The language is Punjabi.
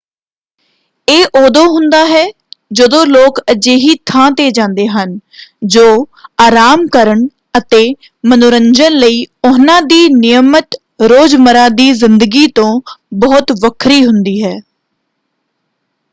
ਇਹ ਉਦੋਂ ਹੁੰਦਾ ਹੈ ਜਦੋਂ ਲੋਕ ਅਜਿਹੀ ਥਾਂ 'ਤੇ ਜਾਂਦੇ ਹਨ ਜੋ ਆਰਾਮ ਕਰਨ ਅਤੇ ਮਨੋਰੰਜਨ ਲਈ ਉਹਨਾਂ ਦੀ ਨਿਯਮਤ ਰੋਜ਼ਮਰ੍ਹਾ ਦੀ ਜ਼ਿੰਦਗੀ ਤੋਂ ਬਹੁਤ ਵੱਖਰੀ ਹੁੰਦੀ ਹੈ।